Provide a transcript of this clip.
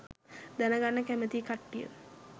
දැනගන්න කැමති කට්ටිය